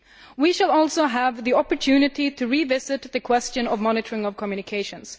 We will also have the opportunity to revisit the question of the monitoring of communications.